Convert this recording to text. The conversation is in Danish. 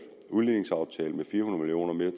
udligningsaftalen med fire hundrede